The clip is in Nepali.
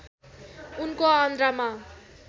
उनको आन्द्रामा